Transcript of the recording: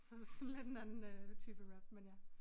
Så sådan lidt en anden type rap men ja